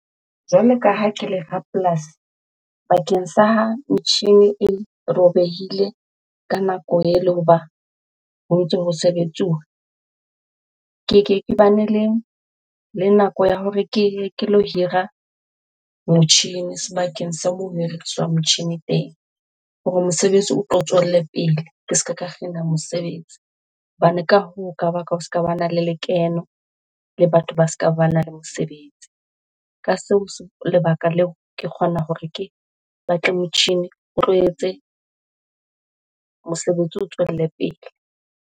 Jwalo ka ha ke le rapolasi bakeng sa ha metjhine e robehile ka nako ele hoba ho ntse ho sebetsuwa. Keke ke bane le nako ya hore ke ye ke lo hira motjhini sebakeng sa moo ho hiriswang motjhini teng hore mosebetsi o tlo tswelle pele, ke se ke ka kgina mosebetsi. Hobane ka hoo ho ka baka ho se ka bana le lekeno le batho ba se ka bana le mosebetsi. Ka lebaka leo ke kgona hore ke batle motjhini o tlo etse mosebetsi o tswelle pele.